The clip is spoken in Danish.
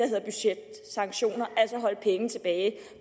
hedder budgetsanktioner altså holde penge tilbage